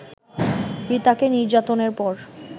রিতাকে নির্যাতনের পর